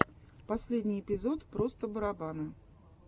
последний эпизод просто барабаны